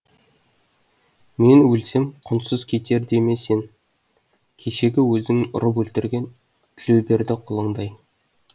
мен өлсем құнсыз кетер деме сен кешегі өзіңнің ұрып өлтірген тілеуберді құлыңдай